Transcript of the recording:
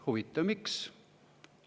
" Huvitav, miks?